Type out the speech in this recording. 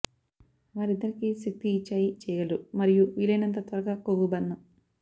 వారిద్దరికీ శక్తి ఇచ్చాయి చేయగలరు మరియు వీలైనంత త్వరగా కొవ్వు బర్న్